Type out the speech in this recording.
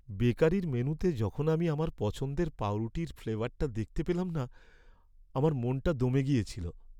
বেকারির মেনুতে যখন আমি আমার পছন্দের পাঁউরুটির ফ্লেভারটা দেখতে পেলাম না, আমার মনটা দমে গেছিল।